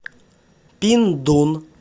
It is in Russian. пиндун